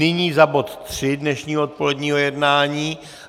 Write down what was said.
Nyní za bod tři dnešního odpoledního jednání.